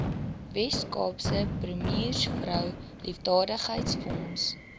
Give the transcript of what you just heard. weskaapse premiersvrou liefdadigheidsfonds